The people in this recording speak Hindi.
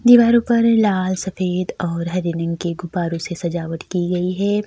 दीवारों पर लाल सफेद और हरे रंग के गुफारों से सजावट की गई है।